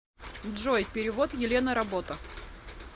джой перевод елена работа